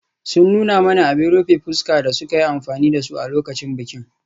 Sun nuna mana abin rufe fuska da suka yi amfani da su a lokacin bikin.